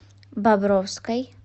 бобровской